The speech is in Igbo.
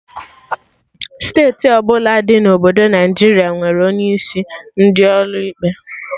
Steeti ọbụla dị na obodo Naijiria nwere onye isi ndị ọrụ ikpe